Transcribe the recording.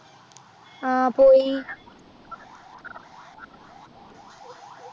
ആഹ് പോയി